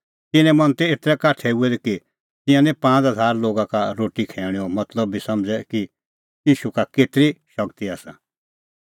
तिन्नें मन तै एतरै काठै हुऐ दै कि तिंयां निं पांज़ हज़ारा लोगा का रोटी खैऊणेंओ मतलब बी समझ़ै कि ईशू का केतरी शगती आसा